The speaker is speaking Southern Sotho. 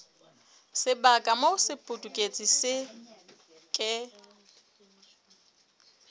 sebaka moo sepudutsi se ke